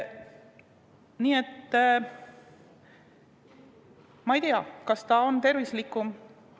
Nii et ma ei tea, kas see on tervislikum.